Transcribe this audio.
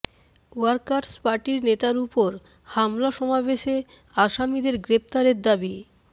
workers পার্টির নেতার ওপর হামলা সমাবেশে আসামিদের গ্রেপ্তারের দাবি